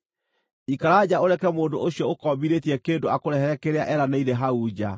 Ikara nja ũreke mũndũ ũcio ũkombithĩtie kĩndũ akũrehere kĩrĩa eranĩire hau nja.